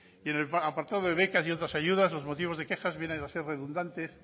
y en el apartado de becas y otras ayudas los motivos de quejas vienen a ser redundantes